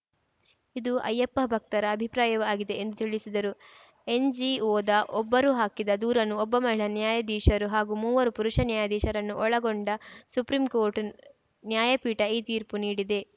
ಇದು ಅಯ್ಯಪ್ಪ ಭಕ್ತರ ಅಭಿಪ್ರಾಯವೂ ಆಗಿದೆ ಎಂದು ತಿಳಿಸಿದರು ಎನ್‌ಜಿಒದ ಒಬ್ಬರು ಹಾಕಿದ ದೂರನ್ನು ಒಬ್ಬ ಮಹಿಳಾ ನ್ಯಾಯಾಧೀಶರು ಹಾಗೂ ಮೂವರು ಪುರುಷ ನ್ಯಾಯಾಧೀಶರನ್ನು ಒಳಗೊಂಡ ಸುಪ್ರೀಂ ಕೋಟ್‌ರ್‍ನ ನ್ಯಾಯಪೀಠ ಈ ತೀರ್ಪು ನೀಡಿದೆ